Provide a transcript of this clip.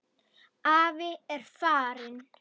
Afi er farinn.